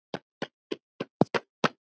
Að því búnu spurði